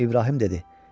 İbrahim dedi.